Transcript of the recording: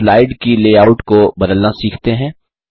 अब स्लाइड की लेआउट को बदलना सीखते हैं